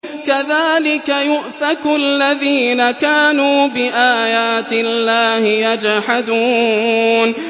كَذَٰلِكَ يُؤْفَكُ الَّذِينَ كَانُوا بِآيَاتِ اللَّهِ يَجْحَدُونَ